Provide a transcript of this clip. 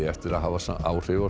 eftir að hafa áhrif á